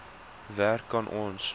werk kan ons